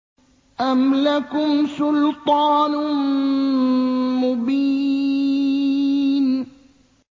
أَمْ لَكُمْ سُلْطَانٌ مُّبِينٌ